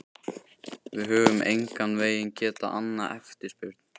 Við höfum engan veginn getað annað eftirspurn.